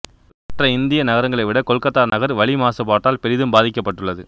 மற்ற இந்திய நகரங்களை விட கொல்கத்தா நகர் வளி மாசுபாட்டால் பெரிதும் பாதிக்கப்பட்டுள்ளது